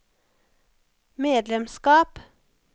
medlemskap